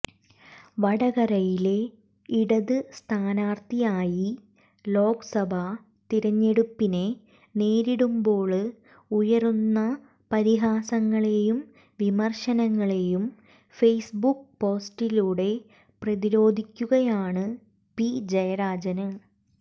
വടകരയിലെ ഇടത് സ്ഥാനാര്ഥിയായി ലോക്സഭ തിരഞ്ഞെടുപ്പിനെ നേരിടുമ്പോള് ഉയരുന്ന പരിഹാസങ്ങളെയും വിമര്ശനങ്ങളെയും ഫെയ്സ്ബുക്ക് പോസ്റ്റിലൂടെ പ്രതിരോധിക്കുകയാണ് പി ജയരാജന്